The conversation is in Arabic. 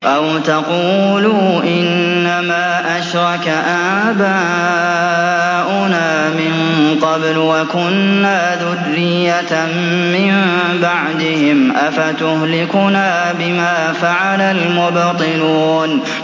أَوْ تَقُولُوا إِنَّمَا أَشْرَكَ آبَاؤُنَا مِن قَبْلُ وَكُنَّا ذُرِّيَّةً مِّن بَعْدِهِمْ ۖ أَفَتُهْلِكُنَا بِمَا فَعَلَ الْمُبْطِلُونَ